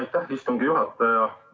Aitäh, istungi juhataja!